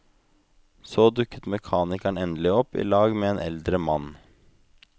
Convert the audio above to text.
Så dukket mekanikeren endelig opp i lag med en eldre mann.